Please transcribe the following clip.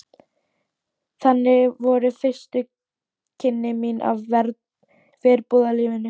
Þannig voru fyrstu kynni mín af verbúðalífinu.